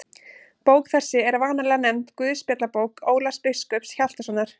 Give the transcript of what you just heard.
Bók þessi er vanalega nefnd Guðspjallabók Ólafs biskups Hjaltasonar.